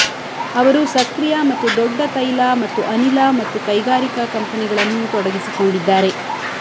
ಅವರು ಸಕ್ರಿಯ ಮತ್ತು ದೊಡ್ಡ ತೈಲ ಮತ್ತು ಅನಿಲ ಮತ್ತು ಕೈಗಾರಿಕಾ ಕಂಪನಿಗಳನ್ನು ತೊಡಗಿಸಿಕೊಂಡಿದ್ದಾರೆ